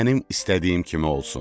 mənim istədiyim kimi olsun.